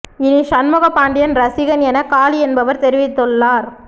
இனி ஷண்முக பாண்டியன் ரசிகன் என காளி என்பவர் தெரிவித்துள்ளார்